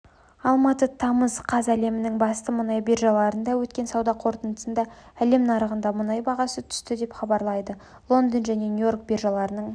алматы тамыз қаз әлемнің басты мұнай биржаларында өткен сауда қортындысында әлем рыногындағы мұнай бағасы түсті деп хабарлайды лондон және нью-йорк биржаларының